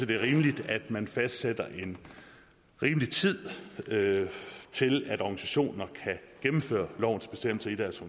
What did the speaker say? det er rimeligt at man fastsætter en rimelig tid til at organisationer kan gennemføre lovens bestemmelser i deres